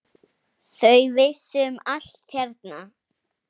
Þau vissu um allt hérna.